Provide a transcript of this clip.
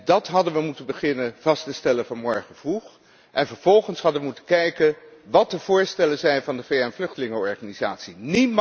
Dat hadden we moeten beginnen vast te stellen vanmorgen vroeg en vervolgens hadden we moeten kijken wat de voorstellen van de VN vluchtelingenorganisatie zijn.